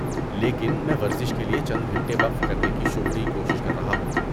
لیکن میں ورزش کے لیے چند گھنٹے وقف کرنے کی شعوری کوشش کر رہا ہوں۔